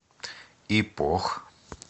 ипох